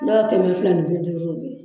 Dɔw kɛmɛ fila ni bi duuru